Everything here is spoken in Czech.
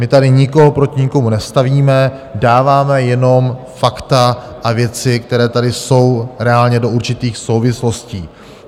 My tady nikoho proti nikomu nestavíme, dáváme jenom fakta a věci, které tady jsou reálně, do určitých souvislostí.